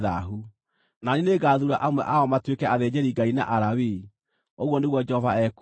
Na niĩ nĩngathuura amwe ao matuĩke athĩnjĩri-Ngai na Alawii,” ũguo nĩguo Jehova ekuuga.